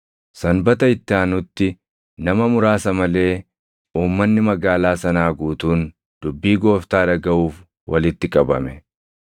Sanbata itti aanutti nama muraasa malee uummanni magaalaa sanaa guutuun dubbii Gooftaa dhagaʼuuf walitti qabame.